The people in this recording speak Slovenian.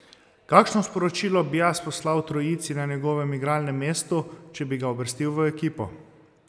Kakšno sporočilo bi jaz poslal trojici na njegovem igralnem mestu, če bi ga uvrstil v ekipo?